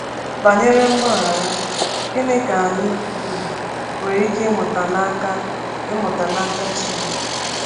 Banyere mgbaghara, gịnị ka anyị um nwere ike ịmụta n’aka ịmụta n’aka Chineke?